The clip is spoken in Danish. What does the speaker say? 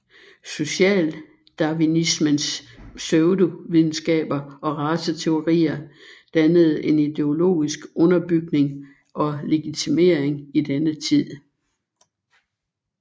Socialdarwinismens pseudovidenskaber og raceteorier dannede en ideologisk underbygning og legitimering i denne tid